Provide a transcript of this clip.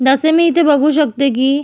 जसे मी इथे बघू शकते की--